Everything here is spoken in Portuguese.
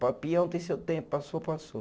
Peão tem seu tempo, passou, passou.